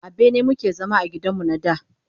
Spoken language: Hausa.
A bene mu ke zama a gidan mu na da.